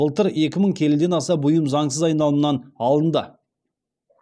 былтыр екі мың келіден аса бұйым заңсыз айналымнан алынды